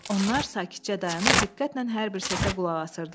Onlar sakitcə dayanıb diqqətlə hər bir səsə qulaq asırdılar.